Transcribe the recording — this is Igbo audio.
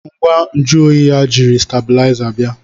ngwa nju oyi ya jiri stábịlịzá bia